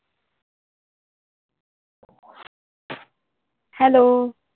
Hello.